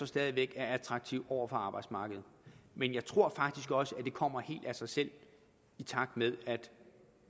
stadig væk er attraktiv på arbejdsmarkedet men jeg tror faktisk også at det kommer helt af sig selv i takt med at